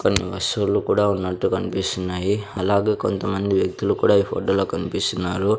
కొన్ని వస్తువులు కూడా ఉన్నట్టు కనిపిస్తున్నాయి అలాగే కొంతమంది వ్యక్తులు కూడా ఈ ఫోటోలో కనిపిస్తున్నారు.